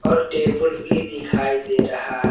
और टेबल भी दिखाई दे रहा--